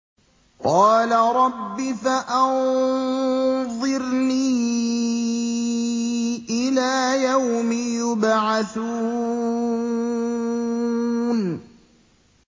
قَالَ رَبِّ فَأَنظِرْنِي إِلَىٰ يَوْمِ يُبْعَثُونَ